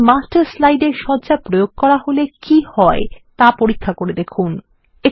একটি মাস্টার স্লাইডে সজ্জা প্রয়োগ করা হলে কি হয় তা পরীক্ষা করে দেখুন